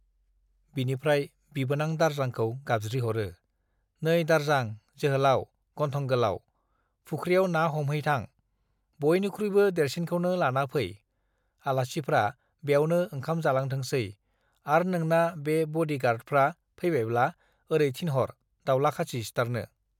बिनिफ्राय बिबोनां दारजांखौ गाबज्रिह'रो , नै दारजां जोहोलाउ गन्थं गोलाव, फुख्रियाव ना हमहैथां , बयनिखुइबो देरसिनखौनो लाना फै , आलासिफ्रा ब्यावनो ओंखाम जालांथोंसै आर नोंना बे बडी गार्डफ्रा फैबायब्ला ओरै थिनह'र दाउला खासि सिथारनो ।